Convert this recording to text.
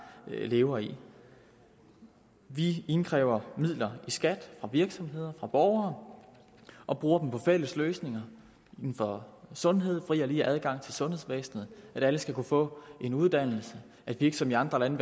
lever i vi indkræver midler i skat fra virksomheder fra borgere og bruger dem på fælles løsninger inden for sundhed fri og lige adgang til sundhedsvæsenet at alle skal kunne få en uddannelse at vi ikke som i andre lande